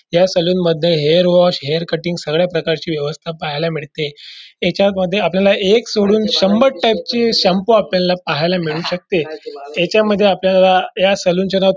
या सलोन मध्ये hair wash hair cutting सगळ्या प्रकारची व्यवस्था पाहायला मिळते ह्याच्या मध्ये आपल्याला एक सोडून शंभर टाइप ची शाम्पू आपल्याला पाहायला मिळू शकते ह्याच्यामध्ये आपल्याला या सलोन चे नाव--